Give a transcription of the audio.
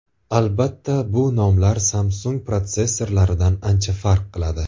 Albatta, bu nomlar Samsung protsessorlaridan ancha farq qiladi.